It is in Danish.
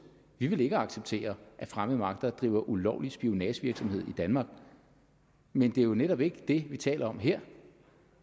vi vil ikke acceptere at fremmede magter driver ulovlig spionagevirksomhed i danmark men det er jo netop ikke det vi taler om her